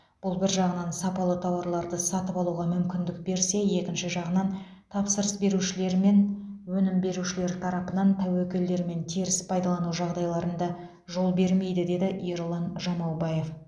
бұл бір жағынан сапалы тауарларды сатып алуға мүкіндік берсе екінші жағынан тапсырыс берушілер мен өнім берушілер тарапынан тәуекелдер мен теріс пайдалану жағдайларында жол бермейді деді ерұлан жамаубаев